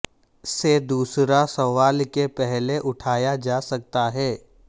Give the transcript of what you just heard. سے دوسرا سوال کے پہلے اٹھایا جا سکتا ہے